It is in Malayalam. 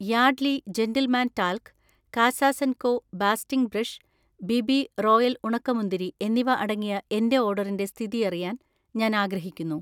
യാഡ്‌ലി ജെന്റിൽമാൻ ടാൽക്ക്, കാസാസൻകോ ബാസ്റ്റിംഗ് ബ്രഷ്, ബിബി റോയൽ ഉണക്കമുന്തിരി എന്നിവ അടങ്ങിയ എന്‍റെ ഓർഡറിന്‍റെ സ്ഥിതിഅറിയാൻ ഞാൻ ആഗ്രഹിക്കുന്നു